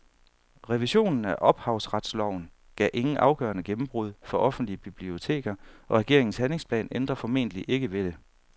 Revisionen af ophavsretsloven gav ingen afgørende gennembrud for offentlige biblioteker, og regeringens handlingsplan ændrer formentlig ikke ved det.